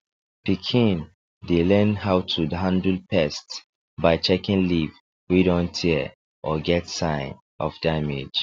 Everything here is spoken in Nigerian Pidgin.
pikin dem dey learn how to handle pests by checking leaf wey don tear or get sign of damage